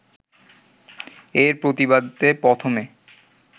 এর প্রতিবাদে প্রথমে